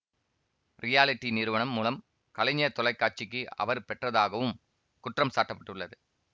reality நிறுவனம் மூலம் கலைஞர் தொலை காட்சிக்கு அவர் பெற்றதாகவும் குற்றம் சாட்ட பட்டுள்ளது